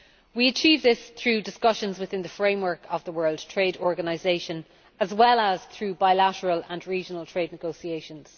We achieve this through discussions within the framework of the World Trade Organization as well as through bilateral and regional trade negotiations.